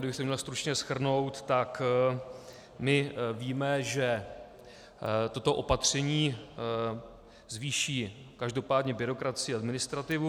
Kdybych to měl stručně shrnout, tak my víme, že toto opatření zvýší každopádně byrokracii a administrativu.